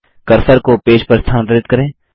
cursor को page पर स्थानांतरित करें